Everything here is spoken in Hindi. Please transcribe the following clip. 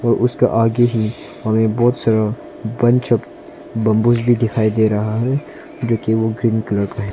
और उसका आगे में हमें बहुत सारा बंबू ही दिखाई दे रहा है जो केवल क्रीम कलर का है।